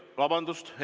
Vabandust!